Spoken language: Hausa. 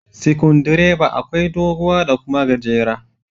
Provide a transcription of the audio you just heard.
Sikundireba akwai doguwa da kuma gajera.